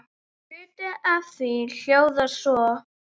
Hluti af því hljóðar svo